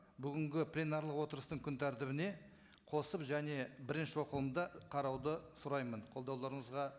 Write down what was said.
бүгінгі пленарлық отырыстың күн тәртібіне қосып және бірінші оқылымда қарауды сұраймын қолдауларыңызға